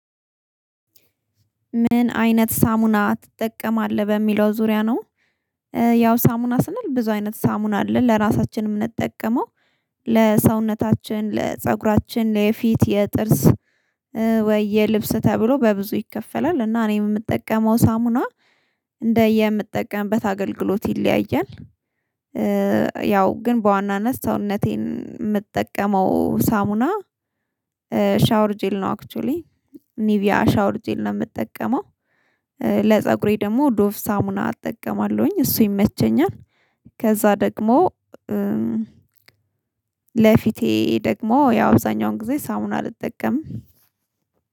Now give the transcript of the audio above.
ምን አይነት ሳሙና ትጠቀማለህ በሚለው ዙሪያ ነው? ያው ሳሙና ስንል ብዙ አይነት ሳሙና አለ ለራሳችንም እንጠቀመው። ለሰውነታችን ለፀጉራችን ለፊት የጥርስ ወይ የልብስ ተብሎ በብዙ ይከፈላል። እና እኔ የምጠቀመው ሳሙና እንደየምጠቀምበት አገልግሎት ይለያያል። ያው ግን በዋናነት ሰውነቴን የምትጠቀመው ሳሙና። ሻወር ጂል ነው አክሊ ኒቪያ ሻወር ጂል ነው የምጠቀመው። ለፀጉሬ ደግሞ ዶፍ ሳሙና አጠቀማለሁኝ እሱ ይመቸኛል። ከዛ ደግሞ ለፊቴ ደግሞ ያው እዛኛውን ጊዜ ሳሙና አልጠቀምም